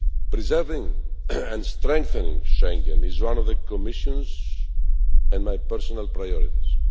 Preserving and strengthening Schengen is one of the Commission's and my personal priorities.